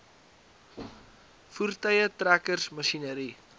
voertuie trekkers masjinerie